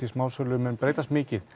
smásölu mun breytast mikið